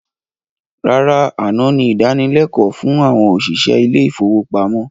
Rárá, àná ni ìdánilékòó fún àwọn òṣìṣẹ́ ilé ifówópamọ́